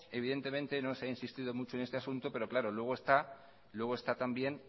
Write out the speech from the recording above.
evidentemente no se ha insistido mucho en este asunto pero claro luego está también